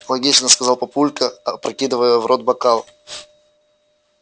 логично сказал папулька опрокидывая в рот бокал